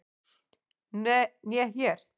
Né er